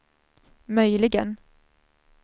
möjligen